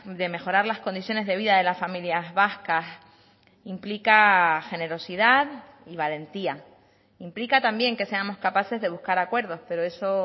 de mejorar las condiciones de vida de las familias vascas implica generosidad y valentía implica también que seamos capaces de buscar acuerdos pero eso